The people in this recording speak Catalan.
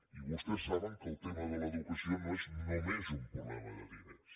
i vostès saben que el tema de l’educació no és només un problema de diners